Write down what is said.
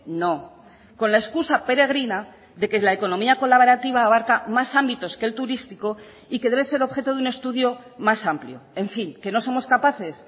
no con la excusa peregrina de que la economía colaborativa abarca más ámbitos que el turístico y que debe ser objeto de un estudio más amplio en fin que no somos capaces